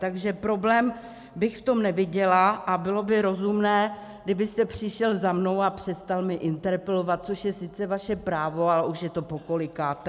Takže problém bych v tom neviděla a bylo by rozumné, kdybyste přišel za mnou a přestal mě interpelovat, což je sice vaše právo, ale už je to pokolikáté.